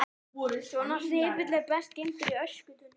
Svona snepill er best geymdur í öskutunnunni.